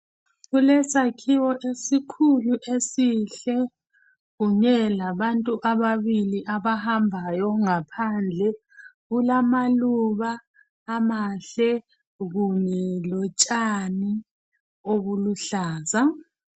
Kulesakhiwo esikhulu esihle kunye labantu ababili abahambayo ngaphandle. Kulamaluba amahle kunye lotshani obuluhlaza.